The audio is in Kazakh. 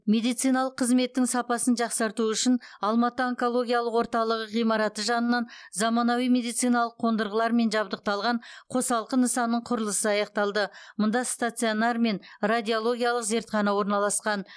медициналық қызметтің сапасын жақсарту үшін алматы онкологиялық орталығы ғимараты жанынан заманауи медициналық қондырғылармен жабдықталған қосалқы нысанның құрылысы аяқталды мұнда стационар мен радиологиялық зертхана орналасқан